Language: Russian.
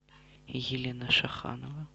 елена шаханова